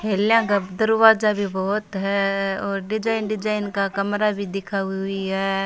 Hailea दरवाजा भी बहोत है और डिजाइन डिजाइन का कमरा भी दिखाई हुई है।